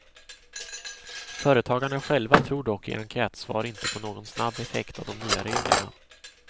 Företagarna själva tror dock i enkätsvar inte på någon snabb effekt av de nya reglerna.